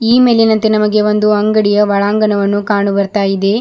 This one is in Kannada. ಈ ಮೇಲಿನಂತೆ ನಮಗೆ ಒಂದು ಅಂಗಡಿಯ ಒಳಾಂಗಣವನ್ನು ಕಾಣು ಬರ್ತಾ ಇದೆ.